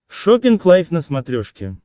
шоппинг лайв на смотрешке